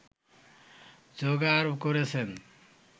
জোগাড় করেছেন